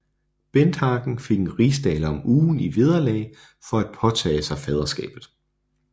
Benthagen fik en rigsdaler om ugen i vederlag for at påtage sig faderskabet